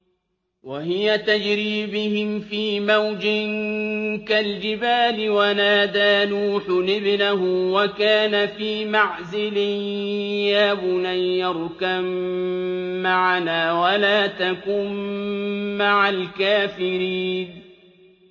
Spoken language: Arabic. وَهِيَ تَجْرِي بِهِمْ فِي مَوْجٍ كَالْجِبَالِ وَنَادَىٰ نُوحٌ ابْنَهُ وَكَانَ فِي مَعْزِلٍ يَا بُنَيَّ ارْكَب مَّعَنَا وَلَا تَكُن مَّعَ الْكَافِرِينَ